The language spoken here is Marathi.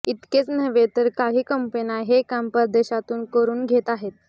इतकेच नव्हे तर काही कंपन्या हे काम परदेशातून करून घेत आहेत